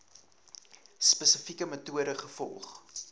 spesifieke metode gevolg